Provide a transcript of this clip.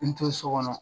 N to so kɔnɔ